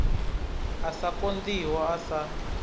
a sa konḓiho a sa